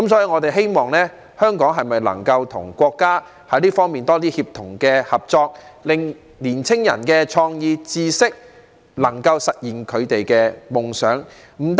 我們希望香港能夠與國家在這方面有更多協同合作，讓年青人能夠發揮創意、運用知識、實現他們的夢想。